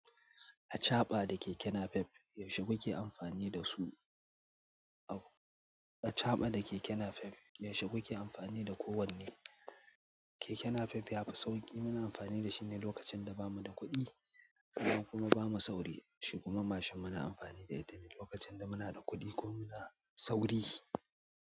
A chaɓa da keke napep, yaushe kuke amfani da su? A chaɓa da keke napep, yaushe kuke amfani da kowanne? Keke napep yafi sauƙi. Muna amfani da shi ne lokacin da bamu da kuɗi, sanan kuma ba mu sauri. Shi kuma mashin muna amfani da itane lokacin da muna da kuɗi ko muna sauri.